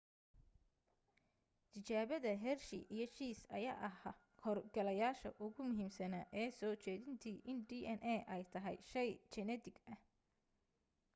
tijaabada hershey iyo chase ayaa ah hor galayaasha ugu muhiimsana ee soo jeedintii in dna ay tahay shey jinetik ah